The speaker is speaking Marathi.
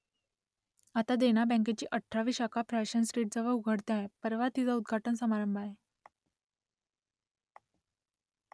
आता देना बँकेची अठरावी शाखा फॅशन स्ट्रीटजवळ उघडते आहे , परवा तिचा उद्घाटन समारंभ आहे